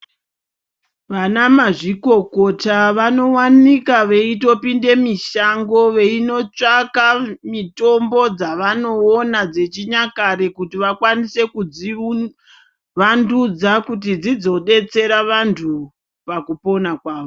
Vanamazvikokota vanovanika weitopinda mumashango weinotsvaka mitombo dzavanoona dzechinyakare kuti vakwanise kudzivandudza kuti dzisodetsera vantu pakupona kwawo.